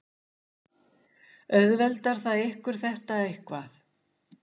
Auðveldar það ykkur þetta eitthvað?